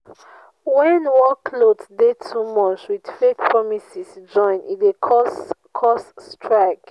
when workloads de too much with fake promises join e de cause cause strike